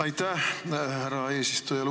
Aitäh, härra eesistuja!